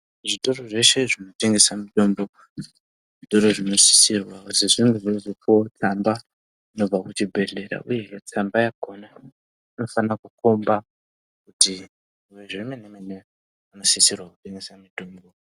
Zvitoro zveshe zvinotengesa mitombo zvitoro zvinosisirwa kupuwa tsamba inobva kuchibhehleya uyu tsamba yakona inofana komba kuti ngezvememe ere unosisirwa puwa mutombo.